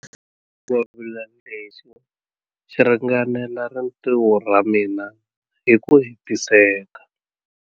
Xingwavila lexi xi ringanela rintiho ra mina hi ku hetiseka.